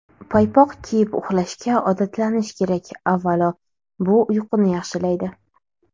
Paypoq kiyib uxlashga odatlanish kerak Avvalo, bu uyquni yaxshilaydi.